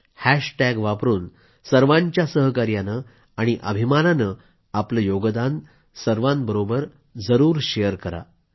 hashtag वापरून सर्वांच्या सहकार्याने आणि अभिमानाने आपलं योगदान सर्वांबरोबर जरूर शेअर करा